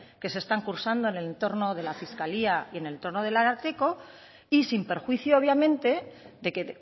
que se están cursando en el entorno de la fiscalía y en el entorno del ararteko y sin perjuicio obviamente de que